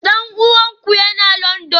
Dan uwanku yana Landan?